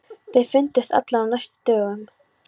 Þeir fundust allir á næstu dögum.